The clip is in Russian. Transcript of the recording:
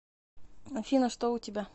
афина что у тебя